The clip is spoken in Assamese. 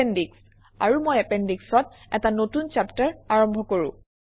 এপেণ্ডিশ আৰু মই appendix অত এটা নতুন চেপ্টাৰ আৰম্ভ কৰোঁ